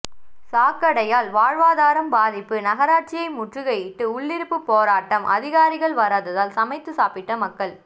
சாக்கடையால் வாழ்வாதாரம் பாதிப்பு நகராட்சியை முற்றுகையிட்டு உள்ளிருப்பு போராட்டம் அதிகாரிகள் வராததால் சமைத்து சாப்பிட்ட மக்கள்